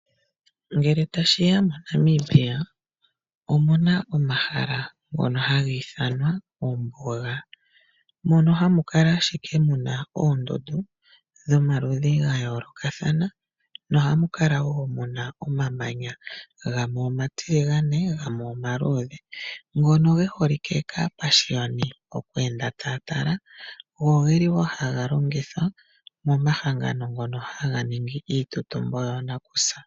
Ngele ta shiya moNamibia omuna omahala ngono ha gi ithanwa ombuga. Mono ha mu kala ashike mu na oondundu dhomaludhi ga yoolokathana no ha mu kala woo muna omamanya gamwe omatiligane gamwe , omaluudhe ngono ge holike kaa pashiyoni mokweenda ta ya tala, ogeli woo ha ga longithwa momahangano ngono ha ga ningi iitutumbo yoonakusa.